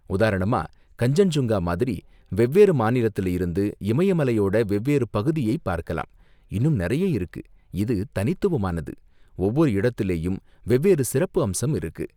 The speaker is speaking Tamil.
உதாரணமா, கஞ்சன்சுங்கா மாதிரி வெவ்வேறு மாநிலத்துல இருந்து இமய மலையோட வெவ்வேறு பகுதியை பார்க்கலாம், இன்னும் நிறைய இருக்கு, இது தனித்துவமானது, ஒவ்வொரு இடத்துலயும் வெவ்வேறு சிறப்பம்சம் இருக்கு.